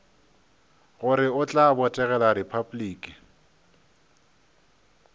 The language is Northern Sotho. gore o tla botegela repabliki